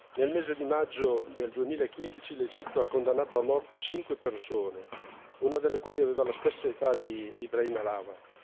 Nel mese di maggio del 2015 l'Egitto ha condannato a morte cinque persone, una delle quali aveva la stessa età di Ibrahim Halawa.